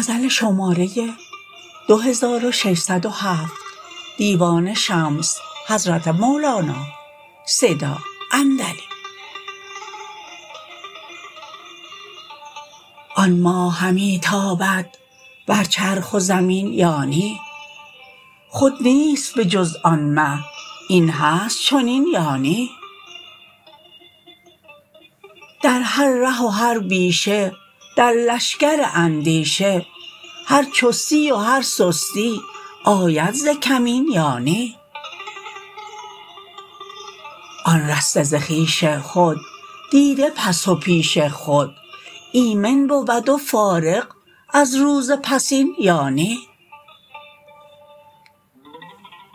آن ماه همی تابد بر چرخ و زمین یا نی خود نیست به جز آن مه این هست چنین یا نی در هر ره و هر پیشه در لشکر اندیشه هر چستی و هر سستی آید ز کمین یا نی آن رسته خویش خود دیده پس و پیش خود ایمن بود و فارغ از روز پسین یا نی